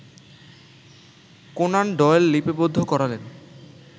Conan Doyle লিপিবদ্ধ করালেন